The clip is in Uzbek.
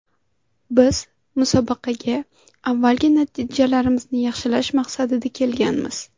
Biz musobaqaga avvalgi natijalarimizni yaxshilash maqsadida kelganmiz.